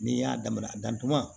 N'i y'a damana dantunan